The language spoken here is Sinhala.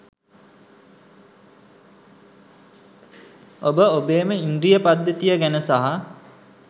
ඔබ ඔබේම ඉන්ද්‍රිය පද්ධතිය ගැන සහ